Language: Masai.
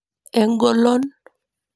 Engolon.